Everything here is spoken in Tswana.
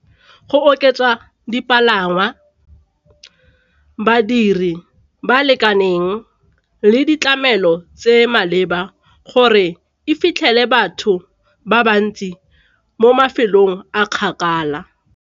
Go oketsa dipalangwa, badiri ba lekaneng le ditlamelo tse maleba gore e fitlhele batho ba bantsi mo mafelong a kgakala.